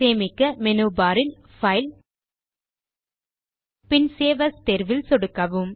சேமிக்க menu bar இல் file பின் சேவ் ஏஎஸ் தேர்வில் சொடுக்கவும்